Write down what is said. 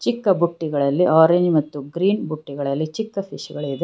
ಚಿಕ್ಕ ಬುಟ್ಟಿಗಳಲ್ಲಿ ಆರೆಂಜ್ ಮತ್ತು ಗ್ರೀನ್ ಬುಟ್ಟಿಗಳಲ್ಲಿ ಚಿಕ್ಕ ಫಿಶ್ ಗಳಿದೆ.